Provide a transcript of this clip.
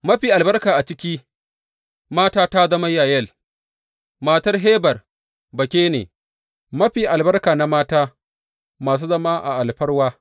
Mafi albarka a ciki mata ta zama Yayel matar Heber Bakene, mafi albarka na mata masu zama a alfarma.